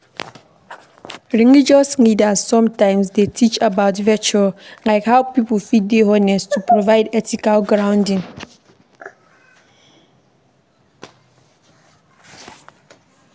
Religious leaders sometimes dey teach about virtue like how pipo fit dey honest, to provide ethical grounding